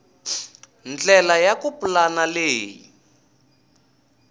ndlela ya ku pulana leyi